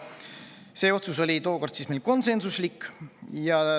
See otsus oli meil tookord konsensuslik.